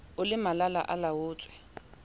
o le malala a laotswe